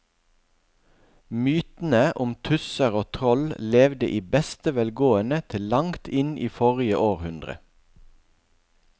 Mytene om tusser og troll levde i beste velgående til langt inn i forrige århundre.